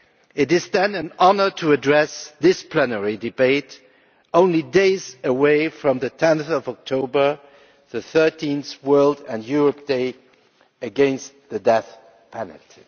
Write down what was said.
It is, then, an honour to address this plenary debate only days away from 10 October, the 13th World and Europe Day against the death penalty.